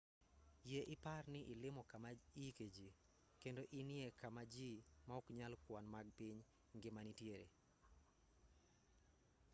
yie ipar ni ilimo kama iike jii kendo enie kama jii ma ok nyal kwan mag piny ngima nitie